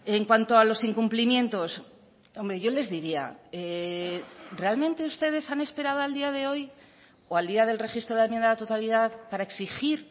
en cuanto a los incumplimientos hombre yo les diría realmente ustedes han esperado al día de hoy o al día del registro de la enmienda a la totalidad para exigir